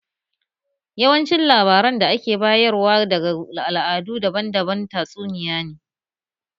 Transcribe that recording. Yawancin labaran da ake bayar wa daga al'adu daban-daban, tatsuniyoyi ne